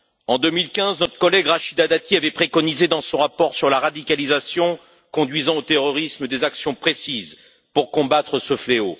En 2015, notre collègue Rachida Dati avait préconisé, dans son rapport sur la radicalisation conduisant au terrorisme, des actions précises pour combattre ce fléau.